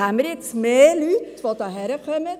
Haben wir jetzt mehr Leute, die hierher kommen?